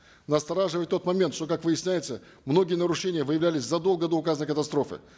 настораживает тот момент что как выясняется многие нарушения выявлялись задолго до указанной катастрофы